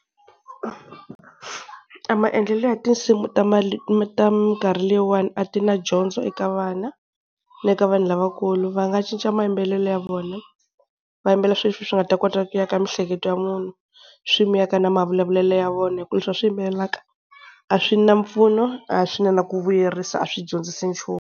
A maendlelo ya tinsimu ta ta minkarhi leyiwani a ti na dyondzo eka vana, ni le ka vanhu lavakulu. Va nga cinca mayimbelelo ya vona, va yimbelela swi leswi swi nga ta kota ku aka miehleketo ya munhu, swi n'wi aka na mavulavulelo ya vona, hi ku leswi va swi yimbelelaka a swi na mpfuno a swi na na ku vuyerisa a swi dyondzisi nchumu.